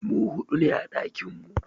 Mu hudu ne a ɗakinmu.